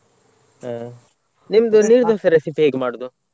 ಹಾ ನಿಮ್ದು ನೀರ್ ದೋಸೆ recipe ಹೇಗೆ ಮಾಡೋದು?